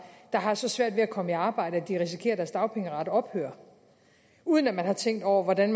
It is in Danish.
der har så svært ved at komme i arbejde at de risikerer at deres dagpengeret ophører uden at der er tænkt over hvordan